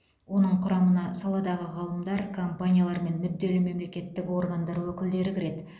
оның құрамына саладағы ғалымдар компаниялар мен мүдделі мемлекеттік органдар өкілдері кіреді